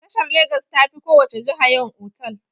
Jihar Legas ta fi ko wace jiha yawan otal.